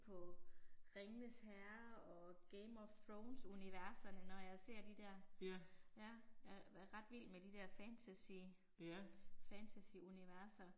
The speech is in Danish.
På Ringenes Herre og Game of Thrones universerne når jeg ser de der. Ja. Jeg er ret vild med de der fantasy fantasyuniverser